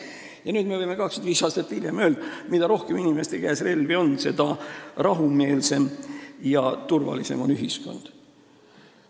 Ja nüüd, 25 aastat hiljem me võime öelda, et mida rohkem inimeste käes relvi on, seda rahumeelsem ja turvalisem on ühiskond.